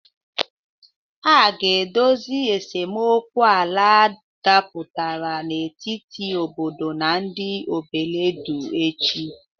A ga-edozi esemokwu ala dapụtara n'etiti obodo na ndị Obeledu echi.